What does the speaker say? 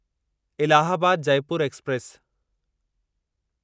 Allahabad Jaipur express